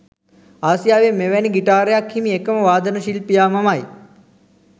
ආසියාවේ මෙවැනි ගිටාරයක් හිමි එකම වාදන ශිල්පියා මමයි.